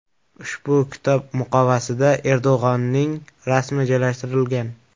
Ushbu kitob muqovasida Erdo‘g‘onning rasmi joylashtirilgan.